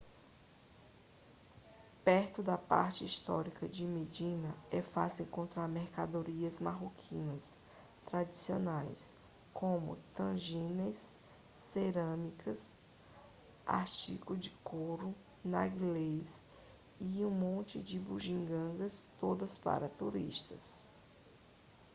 perto da parte histórica de medina é fácil encontrar mercadorias marroquinas tradicionais como tagines cerâmica artigos de couro narguilés e mais um monte de bugigangas todas para turistas